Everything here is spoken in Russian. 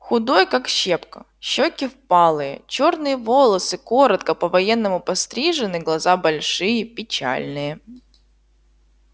худой как щепка щёки впалые чёрные волосы коротко по-военному пострижены глаза большие печальные